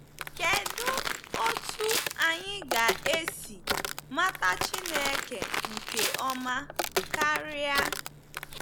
Kedụ otú anyị ga-esi mata Chineke nke ọma karịa?